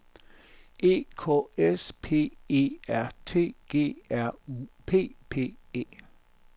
E K S P E R T G R U P P E